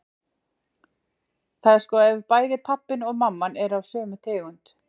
Það er sko ef bæði pabbinn og mamman eru af sömu tegund.